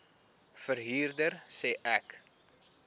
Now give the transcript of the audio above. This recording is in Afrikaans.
verhuurder sê ek